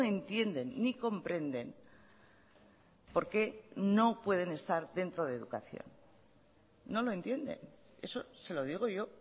entienden ni comprenden por qué no pueden estar dentro de educación no lo entienden eso se lo digo yo